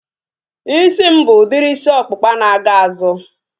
Isi m bụ udiri isi ọkpụkpa na-aga n'azụ